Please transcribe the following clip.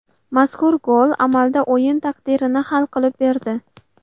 Mazkur gol amalda o‘yin taqdirini hal qilib berdi.